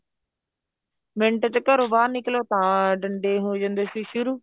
minute ਚ ਘਰੋਂ ਬਾਹਰ ਨਿਕਲੋ ਤਾਂ ਡੰਡੇ ਹੋ ਜਾਂਦੇ ਸੀ ਸ਼ੁਰੂ